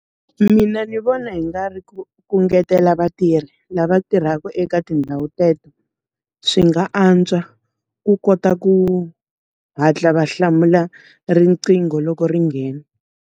Mina ndzi vona hi nga ri ku ku ngetela vatirhi lava tirhaka eka tindhawu teto, swi nga antswa. Ku kota ku hatla va hlamula riqingho loko ri nghena.